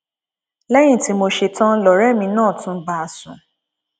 lẹyìn tí mo ṣẹtàn lọrẹ mi náà tún bá a sùn